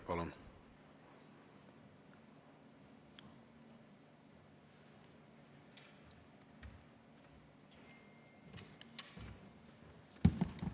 Palun!